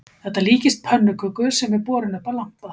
Þetta líkist pönnuköku sem er borin upp að lampa